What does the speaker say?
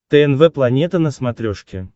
тнв планета на смотрешке